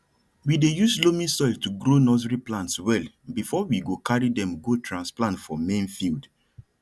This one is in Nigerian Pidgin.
we dey use loamy soil to grow nursery plants well before we go carry dem go transplant for main field